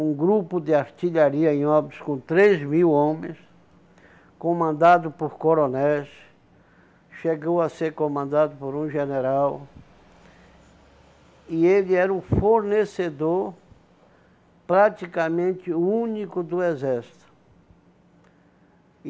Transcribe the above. um grupo de artilharia em obras com três mil homens, comandado por coronéis, chegou a ser comandado por um general, e ele era o fornecedor praticamente único do exército.